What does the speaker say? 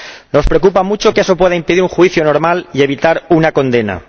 Nos preocupa mucho que eso pueda impedir un juicio normal y evitar una condena.